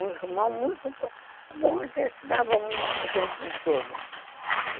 O irmão muito... Bom, ele se dava muito bem com todos.